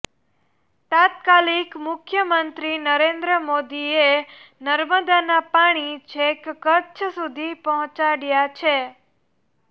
તત્કાલીન મુખ્યમંત્રી નરેન્દ્ર મોદીએ નર્મદાના પાણી છેક કચ્છ સુધી પહોંચાડ્યા છે